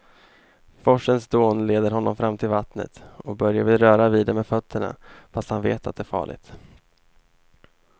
Forsens dån leder honom fram till vattnet och Börje vill röra vid det med fötterna, fast han vet att det är farligt.